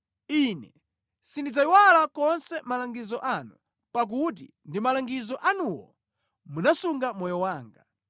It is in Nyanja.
Ine sindidzayiwala konse malangizo anu, pakuti ndi malangizo anuwo munasunga moyo wanga.